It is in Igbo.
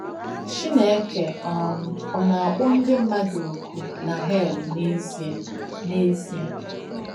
“Chìnéke um Ọ̀ Nà-àkpọ̀ Ndí M̀madù Ọ́kù Nà Hèl n’Ézíē?” n’Ézíē?”